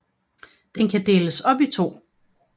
Den kan deles op i to